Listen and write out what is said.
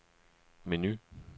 menu